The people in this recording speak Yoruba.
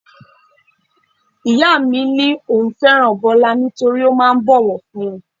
Ìyá mi ní òun fẹ́ràn Bọlá nítorí ó máa ń bowofunni.